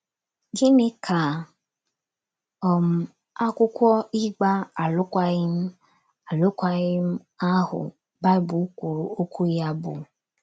Gịnị ka “ um akwụkwọ ịgba alụkwaghịm ” alụkwaghịm ” ahụ Baịbụl kwuru okwu ya bụ?